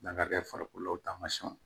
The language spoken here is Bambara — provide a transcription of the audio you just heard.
N'a ka kɛ farikolo tamasiɲɛnw